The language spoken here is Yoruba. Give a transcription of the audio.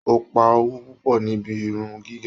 O pa owó púpọ̀ níbí irun gígé.